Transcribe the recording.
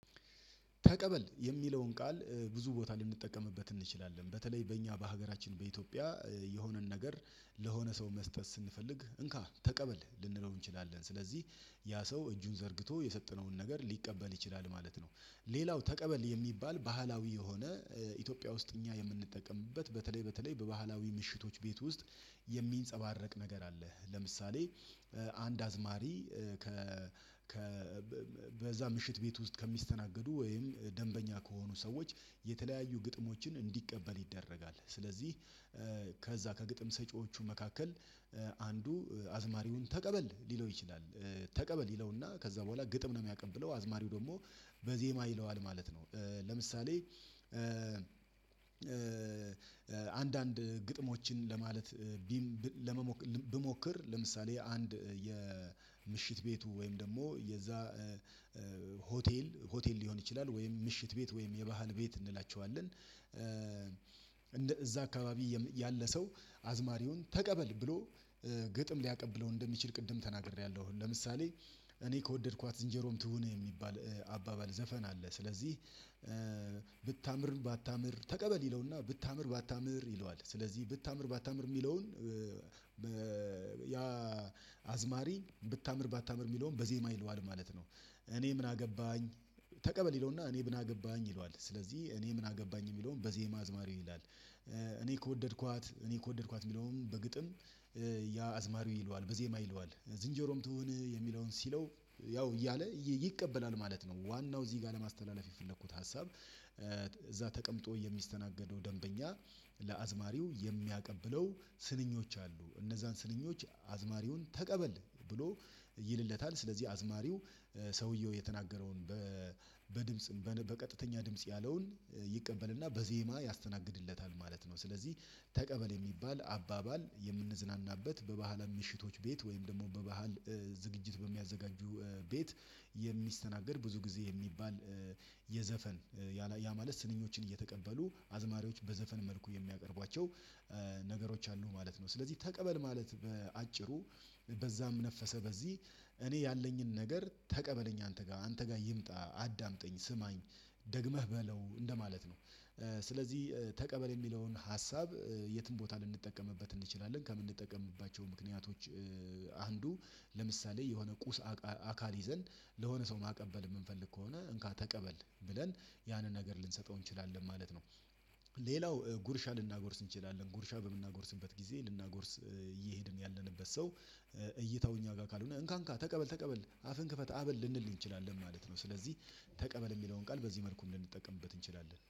ተቀበል የሚለውን ቃል ብዙ ቦታ ልንጠቀምበት እንችላለን በተለይ በእኛ በሀገራችን በኢትዮጵያ የሆነን ነገር ለሆነ ሰው መስጠት ስንፈልግ እንካ ተቀበል ልንለው እንችላለን ስለዚህ ያ ሰው እጁን ዘርግቶ የሰጠነውን ነገር ሊቀበል ይችላል ማለት ነው። ሌላው ተቀበል የሚባል ባህላዊ የሆነ ኢትዮጵያ ውስጥ እኛ የምንጠቀምበት በተለይ በተለይ በባህላዊ ምሽቶች ቤት ውስጥ የሚንጸባረቅ ነገር አለ ለምሳሌ አንድ አዝማሪ ከ በዛ ምሽት ቤት ውስጥ ከሚስተናገዱ ወይም ደንበኛ ከሆኑ ሰዎች የተለያዩ ግጥሞችን እንዲቀበል ይደረጋል ስለዚህ ከዛ ከግጥም ሰጪዎቹ መካከል አንዱ አዝማሪውን ተቀበል ሊለው ይችላል ተቀበል ይለውና ከዛ በኋላ ግጥም ነው የሚያቀብለው አዝማሪው ደግሞ ይለዋል ማለት ነው። ለምሳሌ አንዳንድ ግጥሞችን ለማለት ብሞክር ለምሳሌ አንድ የምሽት ቤቱ ወይም ደግሞ የዛ ሆቴል ሆቴል ሊሆን ይችላል ወይም ምሽት ቤት ወይም የባህል ቤት እንላቸዋለን እዛ አካባቢ ያለ ሰው አዝማሪውን ተቀበል ብሎ ግጥም ሊያቀብለው እንደሚችል ቅድም ተናግሬያለሁ። ለምሳሌ እኔ ከወደድኳት ዝንጀሮም ትሁን የሚባል አባባል ዘፈን አለ ስለዚህ ብታምር ባታምር ተቀበል ይለውና ብታምር ባታምር ይለዋል ስለዚህ ብታምር ባታምር የሚለውን ያ አዝማሪ ብታምር ባታምር የሚለውን በዜማ ይለዋል ማለት ነው። እኔ ምን አገባኝ ተቀበል ይለውና እኔ ምን አገባኝ ይለዋል ስለዚህ እኔ ምን አገባኝ የሚለውን በዜማ አዝማሪው ይላል። እኔ ከወደድኳት እኔ ከወደድኳት የሚለውን በግጥም ያ አዝማሪው ይለዋል በዜማ ይለዋል ዝንጀሮም ትሆን የሚለውን ሲለው ያው እያለ ይቀበላል ማለት ነው። ዋናው እዚህ ጋር ለማስተላለፍ የፈለኩት ሀሳብ እዛ ተቀምጦ የሚስተናገደው ደንበኛ ለአዝማሪው የሚያቀብለው ስንኞች አሉ እነዛን ስንኞች አዝማሪውን ተቀበል ብሎ ይልለታል ስለዚህ አዝማሪው ሰውየው የተናገረውን በድምጽም በቀጥተኛ ድምጽ ያለውን ይቀበልና በዜማ ያስተናግድለታል ማለት ነው። ስለዚህ ተቀበል የሚባል አባባል የምንዝናናበት በባህለ ምሽቶች ቤት ወይም ደግሞ በባህል ዝግጅት በሚያዘጋጁ ቤት የሚስተናገድ ብዙ ጊዜ የሚባል የዘፈን ያ ማለት ስንኞችን እየተቀበሉ አዝማሪዎች በዘፈን መልኩ የሚያቀርቧቸው አሉ ማለት ነው። ስለዚህ ተቀበል ማለት በአጭሩ በዛም ነፈሰ በዚህ እኔ ያለኝን ነገር ተቀበለኝ አንተ ጋር አንተ ጋር ይምጣ አዳምጠኝ ስማኝ ደግመህ በለው እንደማለት ነው። ስለዚህ ተቀበል የሚለውን ሀሳብ የትም ቦታ ልንጠቀምበት እንችላለን ከምንጠቀምባቸው ምክንያቶች አንዱ ለምሳሌ የሆነ ቁስ አካል ይዘን ለሆነ ሰው ማቀበል የምንፈልግ ከሆነ እንካ ተቀበል ብለን ያንን ነገር ልንሰጠው እንችላለን ማለት ነው። ሌላው ጉርሻ ልናጎርስ እንችላለን ጉርሻ በምናጎርስበት ጊዜ ልናጎርስ እየሄድን ያለንበት ሰው እይታው እኛ ጋር ካልሆነ እንካ እንካ ተቀበል ተቀበል አፍን ክፈት አበል ልንል እንችላለን ማለት ነው። ስለዚህ ተቀበል የሚለውን ቃል በዚህ መልኩ ልንጠቀምበት እንችላለን